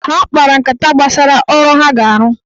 Ha kpara nkata gbasara ọrụ ha ga-arụ